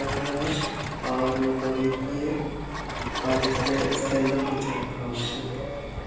रखा हुआ है और लोहे की है और इसमे इसके अंदर कुछ रखा हुआ हैं।